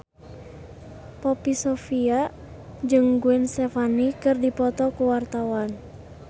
Poppy Sovia jeung Gwen Stefani keur dipoto ku wartawan